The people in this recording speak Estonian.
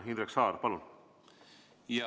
Indrek Saar, palun!